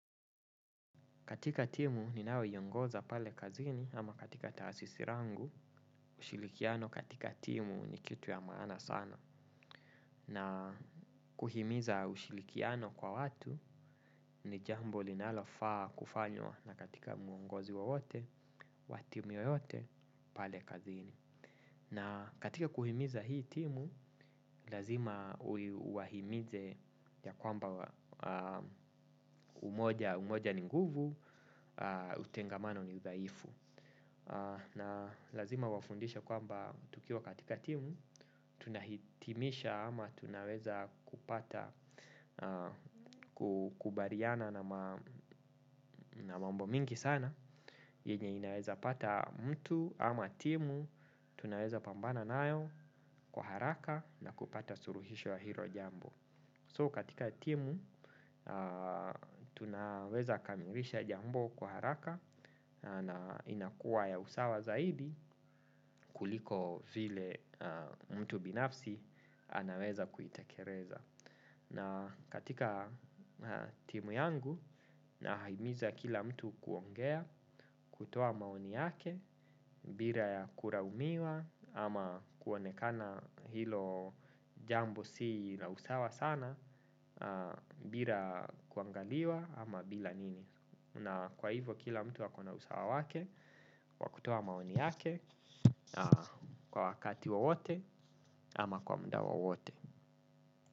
Katika timu ninayoiongoza pale kazini ama katika taasisi langu, ushirikiano katika timu ni kitu ya maana sana. Na kuhimiza ushirikiano kwa watu ni jambo linalofaa kufanywa na katika muongozi wowote, wa timu yoyote, pale kazini. Na katika kuhimiza hii timu, lazima uwahimize ya kwamba umoja ni nguvu, utengamano ni udhaifu. Na lazima uwafundishe kwamba tukiwa katika timu, tunahitimisha ama tunaweza kupata kukubaliana na mambo mingi sana yenye inaweza pata mtu ama timu, tunaweza pambana nayo kwa haraka na kupata suluhisho ya hilo jambo So katika timu, tunaweza kamilisha jambo kwa haraka na inakuwa ya usawa zaidi kuliko vile mtu binafsi anaweza kuitekeleza. Na katika timu yangu nahimiza kila mtu kuongea, kutoa maoni yake, bila ya kulaumiwa ama kuonekana hilo jambo si la usawa sana bila kuangaliwa ama bila nini. Na kwa hivyo kila mtu akona usawa wake, wa kutoa maoni yake, kwa wakati wowote ama kwa muda wowote.